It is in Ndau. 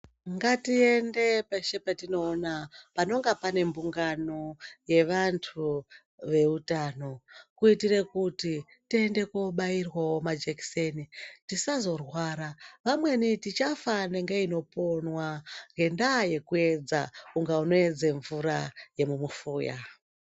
Ngatiende peshe patinoona panenge pane mbungano yevantu veutano. Kuitire kuti tiende kobairwavo majekiseni tisazorwara vamweni tichafa nenge inoponwa ngendaa yekuedza kunge unoedza mvura yemumufuya.